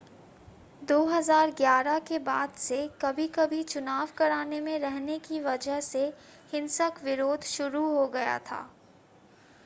2011 के बाद से कभी-कभी चुनाव कराने में रहने की वजह से हिंसक विरोध शुरू हो गया था